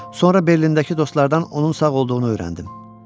Sonra Berlindəki dostlardan onun sağ olduğunu öyrəndim.